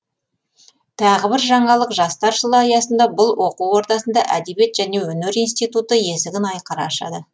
тағы бір жаңалық жастар жылы аясында бұл оқу ордасында әдебиет және өнер институты есігін айқара ашады